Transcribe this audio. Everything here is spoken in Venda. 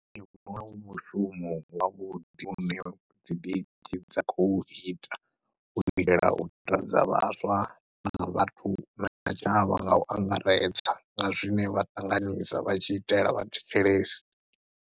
Ndi vhona u mushumo wavhuḓi hune dzi dj dza khou ita uitela u takadza vhaswa na vhathu na tshavha ngau angaredza nga zwine vha ṱanganyisa vha tshi itela vha thetshelesi.